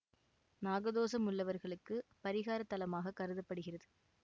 நாகதோசம் உள்ளவர்களுக்கு பரிகாரத் தலமாகக் கருத படுகிறது